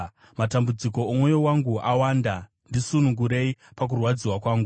Matambudziko omwoyo wangu awanda; ndisunungurei pakurwadziwa kwangu.